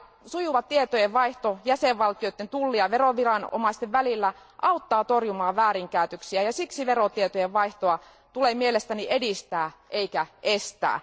Sujuva tietojenvaihto jäsenvaltioiden tulli ja veroviranomaisten välillä auttaa torjumaan väärinkäytöksiä, ja siksi verotietojen vaihtoa tulee mielestäni edistää eikä estää.